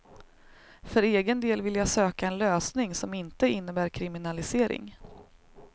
För egen del vill jag söka en lösning som inte innebär kriminalisering.